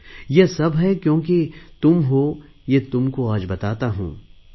ये सब है क्योंकि तुम हो ये तुमको आज बताता हूँ ।